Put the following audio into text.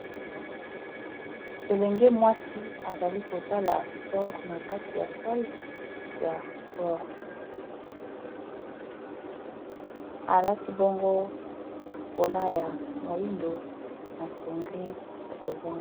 elenge mwasi azali kosala spore na kati ya sale ya spore alati bongo kola ya molindo na sengle ya boz